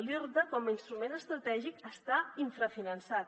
l’irta com a instrument estratègic està infrafinançat